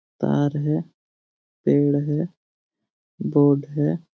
तार है पेड़ है बोर्ड हैं।